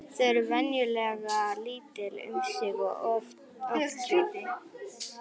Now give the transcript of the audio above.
Þau eru venjulega lítil um sig og oft djúp.